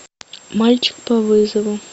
мальчик по вызову